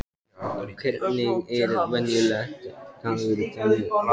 Hvernig er venjulegur dagur þarna úti?